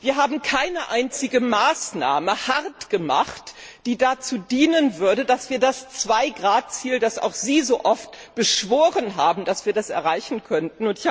Wir haben keine einzige Maßnahme hart gemacht, die dazu dienen würde, dass wir das 2 Grad Ziel, das auch Sie so oft beschworen haben, erreichen könnten.